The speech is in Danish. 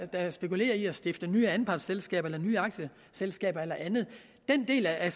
der spekulerer i at stifte nye anpartsselskaber eller nye aktieselskaber eller andet den del af